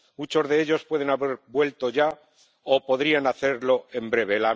Muchos de ellos pueden haber vuelto ya o podrían hacerlo en breve.